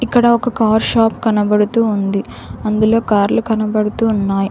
ఇక్కడ ఒక car shop కనబడుతూ ఉంది అందులో కార్లు కనబడుతున్నాయి.